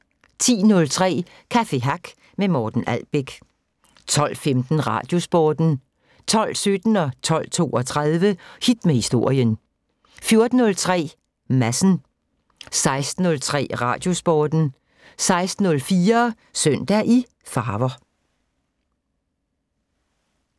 10:03: Café Hack med Morten Albæk 12:15: Radiosporten 12:17: Hit med Historien 12:32: Hit med Historien 14:03: Madsen 16:03: Radiosporten 16:04: Søndag i farver